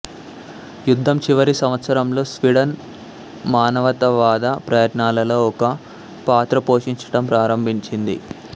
యుద్ధం చివరి సంవత్సరంలో స్వీడన్ మానవతావాద ప్రయత్నాలలో ఒక పాత్ర పోషించటం ప్రారంభించింది